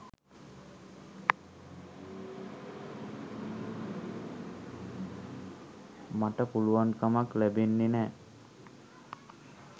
මට පුළුවන් කමක් ලැබෙන්නේ නෑ.